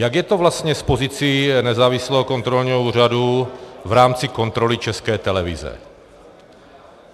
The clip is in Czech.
Jak je to vlastně s pozicí nezávislého kontrolního úřadu v rámci kontroly České televize?